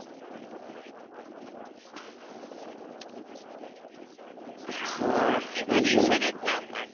হে এই বাড়ি ইচ্ছে দেকলাম